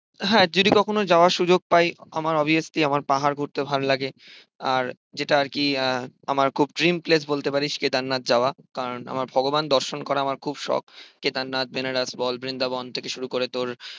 হ্যাঁ যদি কখনো যাবার সুযোগ পাই আমার অবভিয়াসলি আমার পাহাড় ঘুরতে ভালো লাগে। আর যেটা আর কি আহ আমার খুব dream place বলতে পারিস কেদারনাথ যাওয়া। কারণ আমার ভগবান দর্শন করা আমার খুব শখ। কেদারনাথ, বেনারস বল, বৃন্দাবন থেকে শুরু করে তোর